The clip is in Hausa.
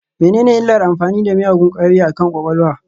Menene illar amfani da miyagun ƙwayoyi akan kwakwalwa?